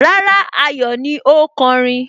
Rárá, Ayọ̀ ni ó kọrin